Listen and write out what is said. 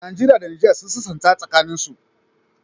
Nigeria da niger sun sassanta tsakanin su